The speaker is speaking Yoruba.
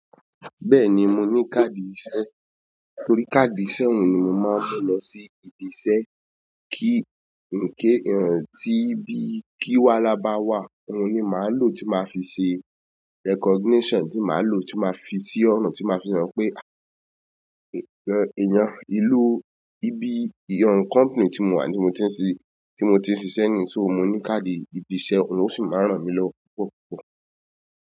Bẹ́ẹ̀ni mo ni káàdì ìṣe, torí káàdì ìṣe òun ni mo máa ń mu lo lọ sí ibi iṣẹ́ kí, kí tí bí kí wáhalá bá wà, òun ni màá lò tí màá fi ṣe recognition, tí màá lò tí màá fi sí ọ̀nà tí màá fi hàn pé, èèyàn ìlú, ibi ìyan kọ̀mpìní tí mo wà ní mo ti ń ṣí, tí mo ti ń ṣiṣẹ́ ní, so mo ní káàdì ibi iṣẹ́, òun sì máa ń ràn mí lọ púpọ̀ púpọ̀.